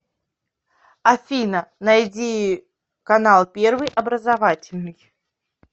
афина найди канал первый образовательный